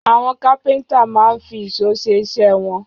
Àwọn kápẹ́ńtà máa ń fi ìṣó ṣe iṣẹ́ wọn.